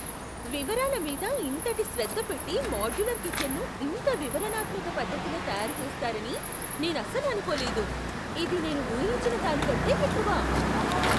వివరాల మీద ఇంతటి శ్రద్ధ పెట్టి మాడ్యులర్ కిచెన్ను ఇంత వివరణాత్మక పద్ధతిలో తయారుచేస్తారని నేనసలు అనుకోలేదు! ఇది నేను ఊహించిన దానికంటే ఎక్కువ.